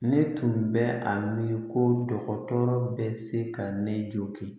Ne tun bɛ a miiri ko dɔgɔtɔrɔ bɛ se ka ne jogin